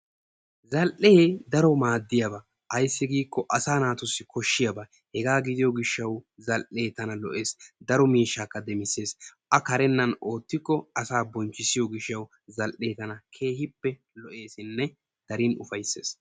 zaal"ee daaro maadiyaaba aysi giiko asaa naatussi kooshiyaaba hegaa gidiyoo giishaw zal"ee tana lo"ees. daro miishshaka demissees. a kareennan ootikko asaa bonchisiyoo giishaw zal'ee tana keehippe lo'eesinne daro ufayssees.